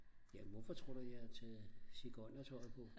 jamen hvorfor tror du jeg har taget sigøjnertøjet på?